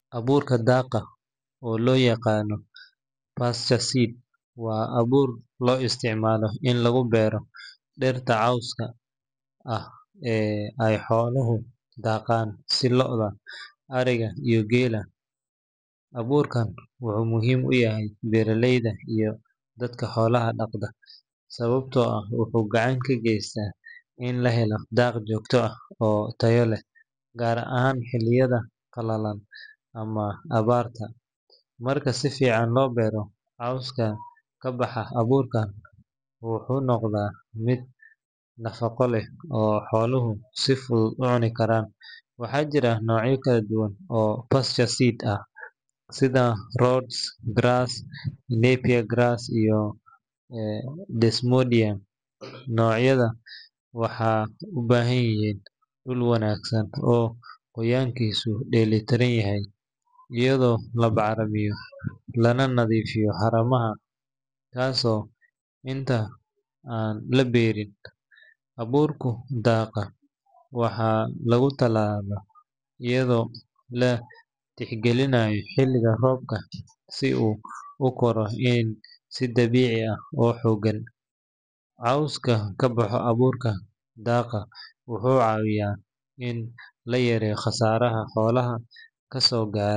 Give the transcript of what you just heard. Abuurka daaqa, oo loo yaqaan pasture seed, waa abuur loo isticmaalo in lagu beero dhiraha cawska ah ee ay xooluhu daaqaan sida lo’da, ariga, iyo geela. Abuurkan wuxuu muhiim u yahay beeraleyda iyo dadka xoolaha dhaqda, sababtoo ah wuxuu gacan ka geystaa in la helo daaq joogto ah oo tayo leh, gaar ahaan xilliyada qalalan ama abaarta. Marka si fiican loo beero, cawska ka baxa abuurkan wuxuu noqdaa mid nafaqo leh oo xooluhu si fudud u cuni karaan. Waxaa jira noocyo kala duwan oo pasture seed ah sida Rhodes grass, Napier grass, iyo Desmodium. Noocyadan waxay u baahan yihiin dhul wanaagsan oo qoyaankiisu dheellitiran yahay, iyadoo la bacrimiyo lana nadiifiyo haramaha kahor inta aan la beerin. Abuurka daaqa waxaa lagu tallaalaa iyadoo la tixgelinayo xilliga roobka si uu u koro si dabiici ah oo xooggan. Cawska ka baxa abuurka daaqa wuxuu caawiyaa in la yareeyo khasaaraha xoolaha ka soo gaara.